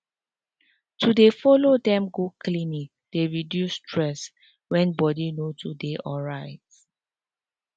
to dey help with housework dey make family members feel more feel more confident and dey supported.